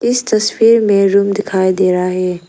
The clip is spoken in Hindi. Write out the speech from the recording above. इस तस्वीर में रूम दिखाई दे रहा है।